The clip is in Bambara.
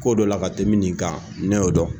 Ko dɔ la ka tɛmɛ nin kan ne y'o dɔn